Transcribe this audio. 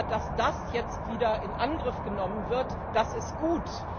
Dass das jetzt wieder in Angriff genommen wird, ist gut!